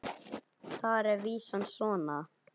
Þar er vísan svona